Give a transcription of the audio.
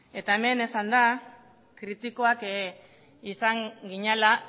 eta hemen esan da kritikoak izan ginela